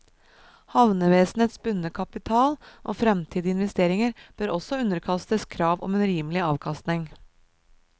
Havnevesenets bundne kapital og fremtidige investeringer bør også underkastes krav om en rimelig avkastning.